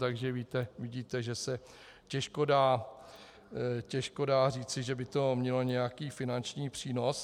Takže vidíte, že se těžko dá říci, že by to mělo nějaký finanční přínos.